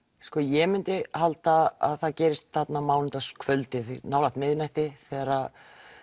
sko ég myndi halda að það gerist þarna á mánudagskvöldinu nálægt miðnætti þegar